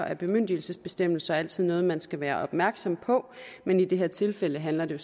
at bemyndigelsesbestemmelser altid er noget man skal være opmærksom på men i det her tilfælde handler det